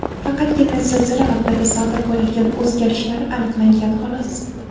Faqatgina zilzila vaqtida sodir bo‘ladigan o‘zgarishlar aniqlangan xolos.